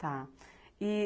Tá. E